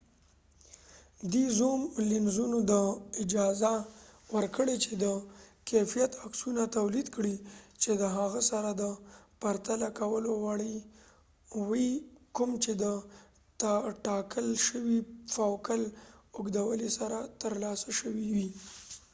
دې زوم لینزونو ته اجازه ورکړې چې د کیفیت عکسونه تولید کړي چې د هغه سره د د پرتله کولو وړ وي کوم چې د ټاکل شوي فوکل اوږدوالي سره ترلاسه شوي وي